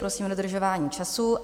Prosím o dodržování času.